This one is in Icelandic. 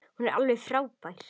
Hún er alveg frábær.